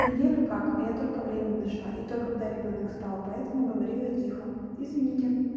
неделю как я только время нашла и то когда ребёнок спал поэтому говорила тихо извините